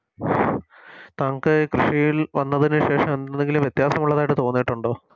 താങ്കൾ കൃഷിയിൽ വന്നതിന് ശേഷം എന്തെങ്കിലും വ്യത്യാസമുള്ളതായിട്ട് തോന്നിയിട്ടുണ്ടോ